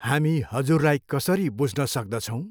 हामी हजुरलाई कसरी बुझ्न सक्दछौँ?